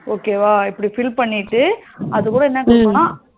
okay வா இப்டி fill பண்ணிட்டு அது கூட என்ன குடுக்கனும்னா